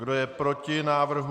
Kdo je proti návrhu?